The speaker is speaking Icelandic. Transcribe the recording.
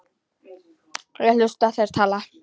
Ég hlusta, þeir tala.